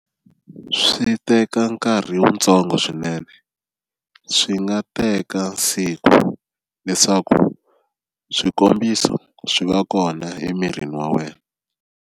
Swi teka nkarhi wuntsongo swinene swi nga teka siku leswaku swikombiso swi va kona emirini wa wena.